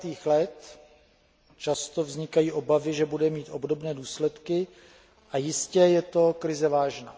30. let, často vznikají obavy, že bude mít obdobné důsledky, a jistě je to krize vážná.